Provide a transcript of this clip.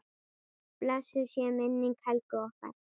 Blessuð sé minning Helgu okkar.